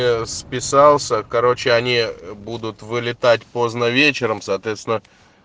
списался короче они будут вылетать поздно вечером соответственно